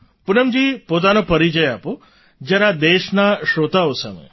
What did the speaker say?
પૂનમજી પોતાનો પરિચય આપો જરા દેશના શ્રોતાઓ સામે